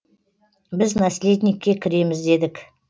біз наследникке кіреміз дедік